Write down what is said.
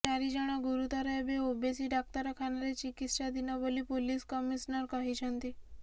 ଚାରି ଜଣ ଗୁରୁତର ଏବେ ଓବେସୀ ଡାକ୍ତରଖାନାରେ ଚିକିତ୍ସାଧୀନ ବୋଲି ପୁଲିସ କମିଶନର କହିଛନ୍ତି